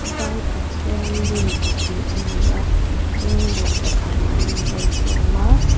vai pathian lim pahnih a ni a phenglawng pakhat an in vawn tawm a.